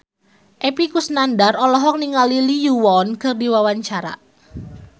Epy Kusnandar olohok ningali Lee Yo Won keur diwawancara